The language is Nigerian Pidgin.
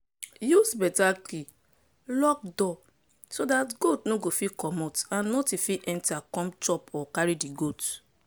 use better key lock door so dat goat no fit commot and nothing fit enter come chop or carry di goat.